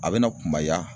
A bɛna kunbaya